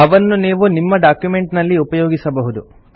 ಅವನ್ನು ನೀವು ನಿಮ್ಮ ಡಾಕ್ಯುಮೆಂಟ್ ನಲ್ಲಿ ಉಪಯೋಗಿಸಬಹುದು